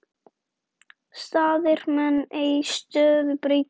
Staðir menn ei stöðu breyta.